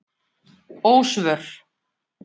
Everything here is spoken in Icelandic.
Ósvör